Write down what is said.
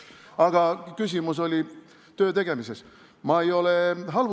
Aga küsimus oli töötegemise kohta.